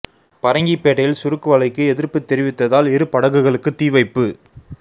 பரங்கிப்பேட்டையில் சுருக்கு வலைக்கு எதிர்ப்பு தெரிவித்ததால் இரு படகுகளுக்கு தீ வைப்பு